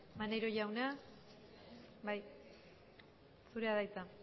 maneiro jauna zurea da hitza